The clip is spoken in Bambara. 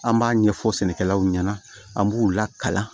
An b'a ɲɛfɔ sɛnɛkɛlaw ɲɛna an b'u lakalan